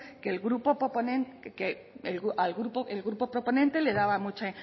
que el grupo proponente le daba mucha